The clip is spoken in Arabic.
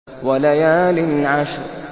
وَلَيَالٍ عَشْرٍ